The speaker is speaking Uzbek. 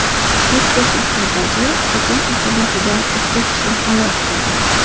Turku shahridagi hujum oqibatida ikki kishi halok bo‘ldi.